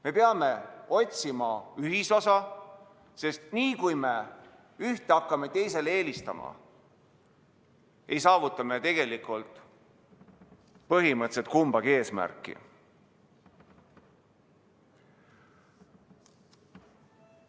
Me peame otsima ühisosa, sest niipea, kui me hakkame ühte teisele eelistama, ei saavuta me tegelikult kumbagi eesmärki.